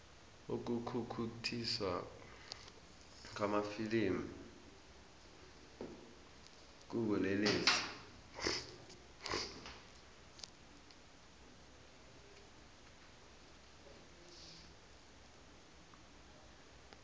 ukukhukhuthiswa kwamafilimu kubulelesi